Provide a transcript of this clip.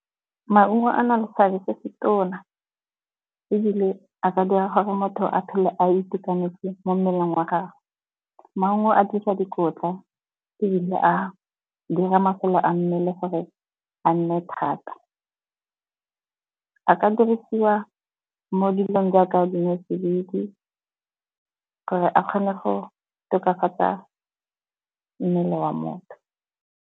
Maungo a na le seabe se se tona ebile a ka dira gore motho a phele a itekanetse mo mmeleng wa gagwe. Maungo a dira dikotla ebile a dira masole a mmele gore a nne thata. A ka dirisiwa mo dilong jaaka dinotsididi gore a kgone go tokafatsa mmele wa motho.